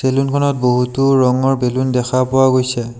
চেলুনখনত বহুতো ৰঙৰ বেলুন দেখা পোৱা গৈছে।